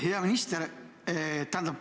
Hea minister!